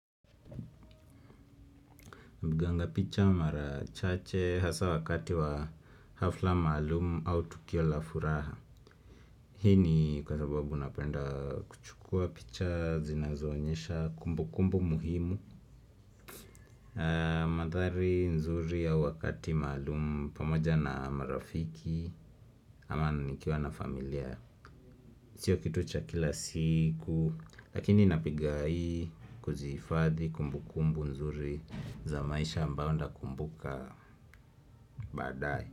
Napiganga picha mara chache hasa wakati wa hafla maalumu au tukio la furaha. Hii ni kwa sababu napenda kuchukua picha zinazoonyesha kumbukumbu muhimu mandhari nzuri au wakati maalum pamoja na marafiki ama nikiwa na familia. Chio kitu cha kila siku lakini napigai kuzifadhi kumbukumbu nzuri za maisha ambao nda kumbuka baadae.